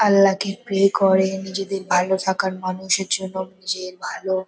আল্লাহ কে প্রে করে নিজেদের ভালো থাকার মানুষের জন্য নিজের ভালো।